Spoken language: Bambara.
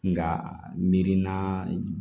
Nka mirinna